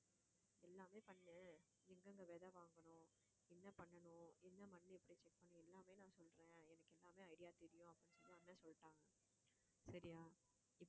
எல்லாமே பண்ணு எங்கங்க விதை வாங்கணும் என்ன பண்ணணும் என்ன மண்ணு எப்படி check பண்ணணும் எல்லாமே நான் சொல்றேன் எனக்கு எல்லாமே idea தெரியும் அப்படின்னு சொல்லி அண்ணன் சொல்லிட்டாங்க சரியா